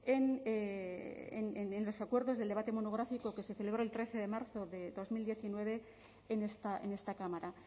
en los acuerdos del debate monográfico que se celebró el trece de marzo de dos mil diecinueve en esta cámara